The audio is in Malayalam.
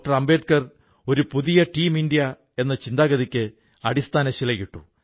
അംബേദ്കർ ഒരു പുതിയ ടീം ഇന്ത്യ എന്ന ചിന്താഗതിക്ക് അടിസ്ഥാനശിലയിട്ടു